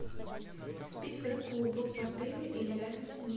список клубов в отеле или рядом с ним